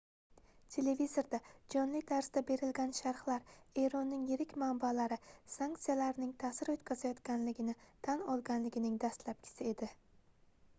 televizorda jonli tarzda berilgan sharhlar eronning yirik manbalari sanksiyalarning taʼsir oʻtkazayotganligini tan olganligining dastlabkisi edi